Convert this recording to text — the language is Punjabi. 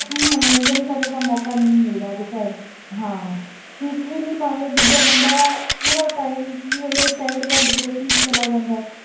ਹੁਣ ਮੰਨੋਰੰਜਨ ਕਰਨ ਦਾ ਮੌਕਾ ਨਹੀਂ ਮਿਲਦਾ ਦੇਖੋ enter~ ਹਾਂ ਸਿੱਖ ਵੀ ਨੀ ਪਾਉਂਦੇ ਦੂਜਾ ਬੰਦਾ ਪੂਰਾ time ਕੀ ਹੁੰਦਾ ਇੱਕ time ਦੇ ਬਾਅਦ depression 'ਚ ਚਲਾ ਜਾਂਦਾ ਹੈ।